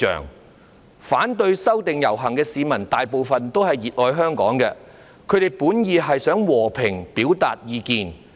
參加遊行，反對修例的市民大部分也是熱愛香港的，他們本意是想和平表達意見。